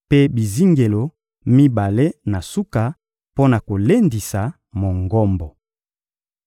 mpe bizingelo mibale na suka mpo na kolendisa Mongombo.